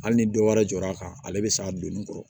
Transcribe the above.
Hali ni dɔ wɛrɛ jɔɔrɔ a kan ale bɛ s'a donni kɔrɔ